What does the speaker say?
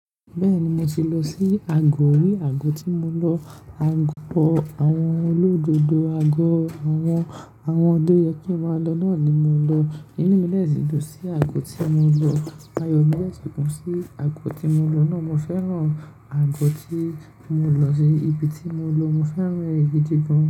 Bẹ́ẹ̀ni, mo ti lọ sí Agọ̀, rí agọ tí mo lọ, agọ àwọn olódodo, àwọn tọ yẹ kí n máa lọ náà ni mo lọ. Inú mi de sì dùn sí agọ tí mo lọ. Aáyọ̀ mi dẹ́sì kún sí agọ tí mo lọ náà. Mo fẹ́ràn agọ tí mo lọ sí, ibi tí mo lọ, mo fẹ́ràn èyí gidi gan.